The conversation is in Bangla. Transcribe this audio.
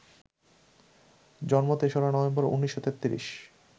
জন্ম ৩রা নভেম্বর, ১৯৩৩